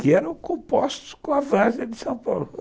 que eram compostos com a vaga de São Paulo.